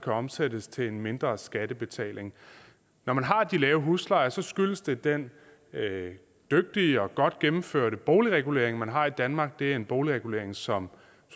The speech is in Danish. omsættes til en mindre skattebetaling når man har de lave huslejer skyldes det den dygtige og godt gennemførte boligregulering man har i danmark det er en boligregulering som